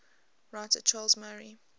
writer charles murray